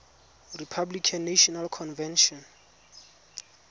republican national convention